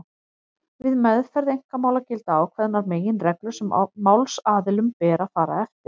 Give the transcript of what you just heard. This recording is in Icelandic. Við meðferð einkamála gilda ákveðnar meginreglur sem málsaðilum ber að fara eftir.